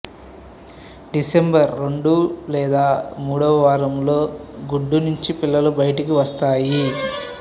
December రెండు లేదా మూడో వారంలో గుడ్డు నుంచి పిల్లలు బయటికి వస్తాయి